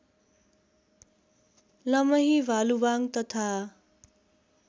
लमही भालुवाङ तथा